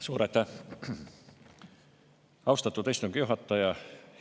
Suur aitäh, austatud istungi juhataja!